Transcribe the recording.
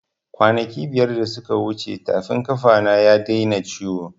Kwanaki biyar da suka wuce tafin ƙafa na ya daina ciwo